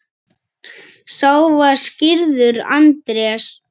Sá var skírður Andrés.